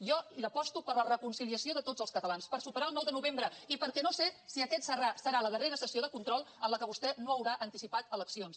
jo aposto per la reconciliació de tots els catalans per superar el nou de novembre i perquè no sé si aquesta serà la darrera sessió de control en què vostè no haurà anticipat eleccions